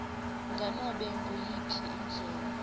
nganobe nguyiphi indlela